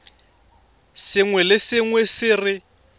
sengwe le sengwe se re